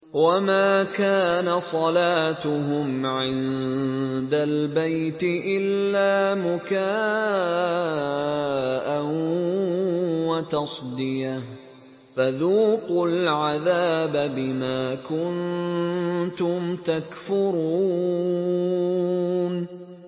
وَمَا كَانَ صَلَاتُهُمْ عِندَ الْبَيْتِ إِلَّا مُكَاءً وَتَصْدِيَةً ۚ فَذُوقُوا الْعَذَابَ بِمَا كُنتُمْ تَكْفُرُونَ